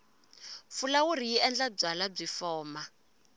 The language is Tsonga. fulawuri yi endla byalwa byi foma